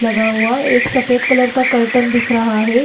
लगा हुआ एक सफेद कलर का कर्टेन दिख रहा है।